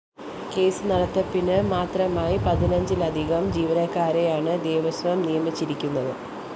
case നടത്തപ്പിന് മാത്രമായി പതിനഞ്ചിലധികം ജീവനക്കാരെയാണ് ദേവസ്വം നിയമിച്ചിരിക്കുന്നത്